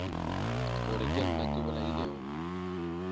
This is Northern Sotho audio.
gore ke nna ke bolailego